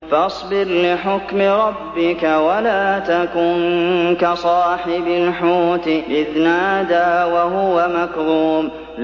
فَاصْبِرْ لِحُكْمِ رَبِّكَ وَلَا تَكُن كَصَاحِبِ الْحُوتِ إِذْ نَادَىٰ وَهُوَ مَكْظُومٌ